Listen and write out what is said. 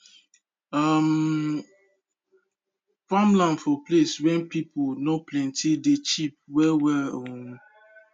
um farmland for place wen pipu nor plenti dey cheap well well um